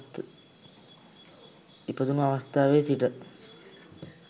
ඉපැදුණු අවස්ථාවේ සිට